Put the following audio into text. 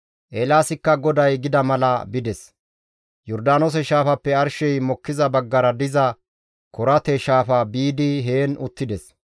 Eelaasikka GODAY gida mala bides; Yordaanoose Shaafappe arshey mokkiza baggara diza Korate Shaafa biidi heen uttides.